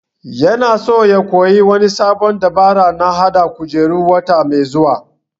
Ya na so ya koya wani sabon dabara na hada kujeru wata mai zuwa